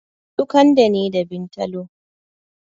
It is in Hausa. Su kande ne da bintalo